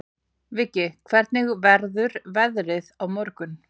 Viggi, hvernig verður veðrið á morgun?